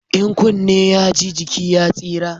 In kunne ya ji, jiki ya tsira